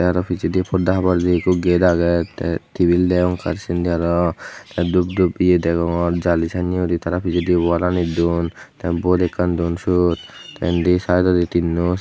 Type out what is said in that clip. arow pijadi pordahabor day gate agay te tabil degong te dup dup ye degongor jali sanay gori tara pijadi wall anit duon te bot ekkan duon suot te indi saidodi tinnow.